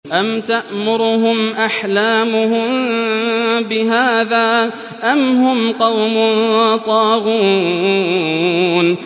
أَمْ تَأْمُرُهُمْ أَحْلَامُهُم بِهَٰذَا ۚ أَمْ هُمْ قَوْمٌ طَاغُونَ